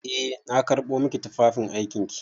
Eh na karɓo maki tufafin aikin ki.